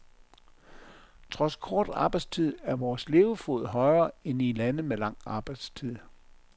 Trods kort arbejdstid er vores levefod højere end i lande med lang arbejdstid.